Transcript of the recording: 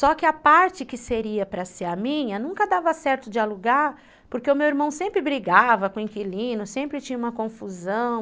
Só que a parte que seria para ser a minha nunca dava certo de alugar, porque o meu irmão sempre brigava com o inquilino, sempre tinha uma confusão.